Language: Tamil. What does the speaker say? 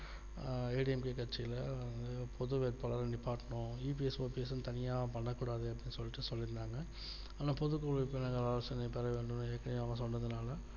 ஆஹ் ADMK கட்சியில புது வேட்பாளர் நிப்பாட்டனும் EPSOPS தனியா பண்ண கூடாது அப்படின்னு சொல்ட்டு சொல்லிருந்தாங்க ஆனால் பொது குழு ஆலோசனைபெற வேண்டும் ஏற்கனவே சொன்னதுனால